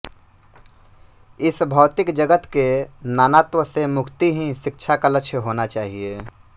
इस भौतिक जगत के नानात्व से मुक्ति ही शिक्षा का लक्ष्य होना चाहिए